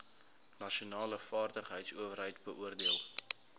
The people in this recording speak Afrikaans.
nasionale vaardigheidsowerheid beoordeel